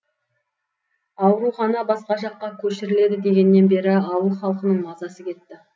аурухана басқа жаққа көшіріледі дегеннен бері ауыл халқының мазасы кетті